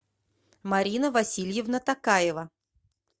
марина васильевна такаева